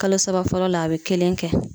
Kalo saba fɔlɔ la a be kelen kɛ.